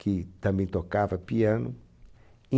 que também tocava piano.